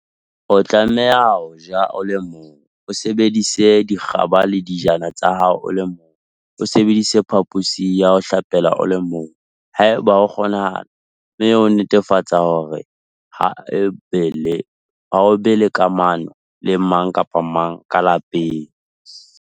O tlameha ho ja o le mong, o sebedise dikgaba le dijana tsa hao o le mong, o sebedise phaphosi ya ho hlapela o le mong, haeba ho kgonahala, mme o netefatse hore ha o be le kamano le mang kapa mang ka lapeng.